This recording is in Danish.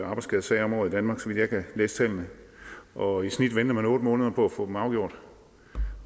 arbejdsskadesager om året i danmark så vidt jeg kan læse tallene og i snit venter man otte måneder på at få dem afgjort